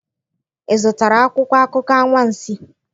Ịzụtara akwụkwọ akụkọ anwansi?